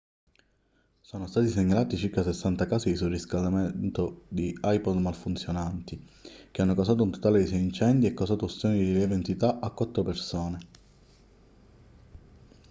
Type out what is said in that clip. sono stati segnalati circa 60 casi di surriscaldamento di ipod malfunzionanti che hanno causato un totale di sei incendi e causato ustioni di lieve entità a quattro persone